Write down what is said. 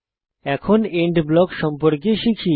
এখন end block সম্পর্কে শিখি